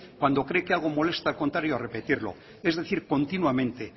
cuando cree que algo molesta contar y repetirlo es decir continuamente